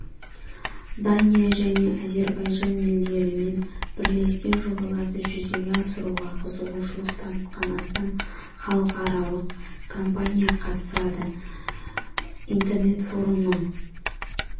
дания және әзербайжан елдерінен бірлескен жобаларды жүзеге асыруға қызығушылық танытқан астам халықаралық компания қатысады интернет-форумның